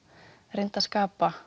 reyndi að skapa